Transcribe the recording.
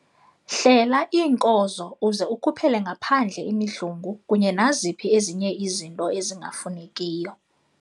Hlela iinkozo uze ukhuphele ngaphandle imidlungu kunye naziphi ezinye izinto ezingafunekiyo.